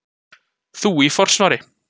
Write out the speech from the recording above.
Þú í forsvari.